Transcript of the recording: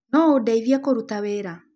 No ũndeithie kũrũta wĩra?